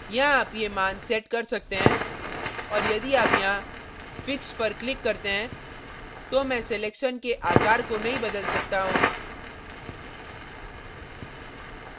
यहाँ आप ये मान set कर सकते हैं और यदि आप यहाँ fix पर click करते हैं तो मैं selection के आकार को नहीं बदल सकता हूँ